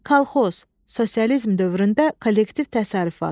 Kolxoz, sosializm dövründə kollektiv təsərrüfat.